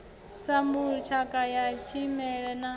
sambulu tshakha ya tshimela na